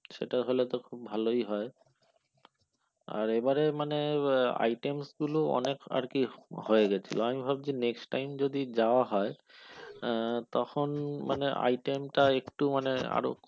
সেটা হলে তো খুব ভালই হয় আর এবারে মানে items গুলো অনেক আর কি হয়ে গেছিল আমি ভাবছি next time যদি যাওয়া হয় তখন মানে item টা একটু মানে আরো কম